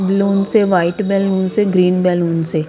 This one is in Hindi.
बलुन्स है वाइट बलुन्स है ग्रीन बलुन्स है ।